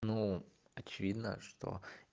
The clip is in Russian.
ну очевидно что